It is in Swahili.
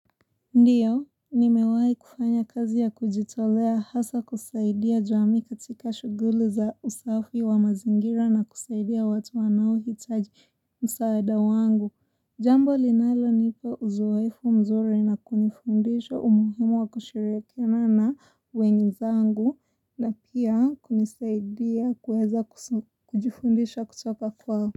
Ndiyo, nimewahi kufanya kazi ya kujitolea hasa kusaidia jamii katika shughuli za usafi wa mazingira na kusaidia watu wanao hitaji msaada wangu. Jambo linalo nipa uzoefu mzuri na kunifundisha umuhimu wa kushirikiana na wenzaangu na pia kunisaidia kuweza kujifundisha kutoka kwao.